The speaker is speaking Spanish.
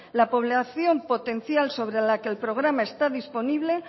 la población potencial sobre la que el programa está disponible